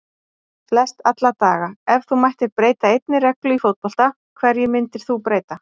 Flest alla daga Ef þú mættir breyta einni reglu í fótbolta, hverju myndir þú breyta?